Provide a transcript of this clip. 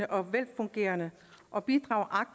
og velfungerende og bidrager